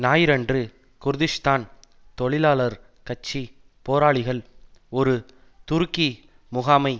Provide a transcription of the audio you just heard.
ஞாயிறன்று குர்திஷ்தான் தொழிலாளர் கட்சி போராளிகள் ஒரு துருக்கி முகாமை